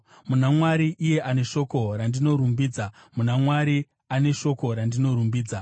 Muna Mwari, iye ane shoko randinorumbidza, muna Jehovha, ane shoko randinorumbidza,